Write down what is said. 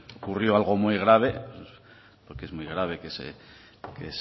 ocurrió algo muy grave porque es muy grave que se